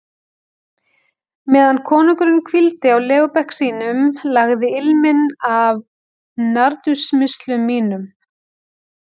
Meðan konungurinn hvíldi á legubekk sínum, lagði ilminn af nardussmyrslum mínum.